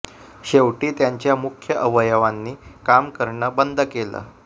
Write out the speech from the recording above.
शेवटी त्यांच्या मुख्य अवयवयांनी काम करणं बंद केलं